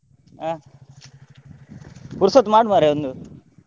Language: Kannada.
ಆ ಪುರ್ಸೋತು ಮಾಡು ಮಾರ್ರೆ ಒಂದು.